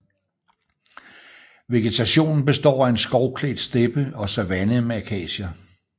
Vegetationen består af en skovklædt steppe og savanne med akacier